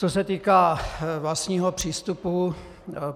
Co se týká vlastního přístupu.